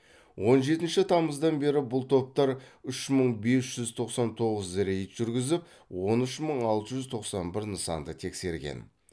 он жетінші тамыздан бері бұл топтар үш мың бес жүз тоқсан тоғыз рейд жүргізіп он үш мың алты жүз тоқсан бір нысанды тексерген